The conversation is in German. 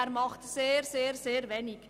Er macht sehr, sehr, sehr wenig.